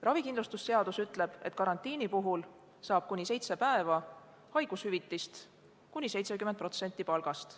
Ravikindlustusseadus ütleb, et karantiini puhul saab inimene kuni seitse päeva haigushüvitist, mis moodustab kuni 70% tema palgast.